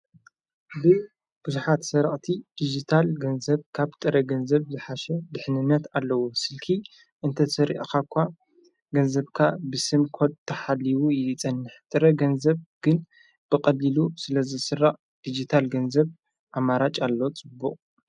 ብብዙኃት ሠራቕቲ ዲጅታል ገንዘብ ካብ ጥረ ገንዘብ ዝሓሸ ድሕንነት ኣለዉ ስልኪ እንተ ተሪእኻ እኳ ገንዘብካ ብስምኰድ ተሓሊቡ ጸንሕ ጥረ ገንዘብ ግን ብቐዲሉ ስለ ዘሥራቕዕ ዲጅታል ገንዘብ ኣማራጭ ኣለ ጽቡቕ:;